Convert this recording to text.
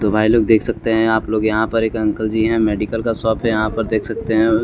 तो भाई लोग देख सकते हैं आप लोग यहाँ पर एक अंकल जी हैं मेडिकल का शॉप है यहाँ पर देख सकते हैं।